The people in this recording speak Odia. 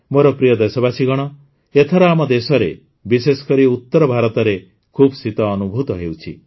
ମୋର ପ୍ରିୟ ଦେଶବାସୀଗଣ ଏଥର ଆମ ଦେଶରେ ବିଶେଷ କରି ଉତର ଭାରତରେ ଖୁବ୍ ଶୀତ ଅନୁଭୂତ ହେଉଛି